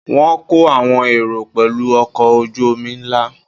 Wọ́n kó àwọn èrò pẹ̀lú ọkọ̀ ojú-omi ńlá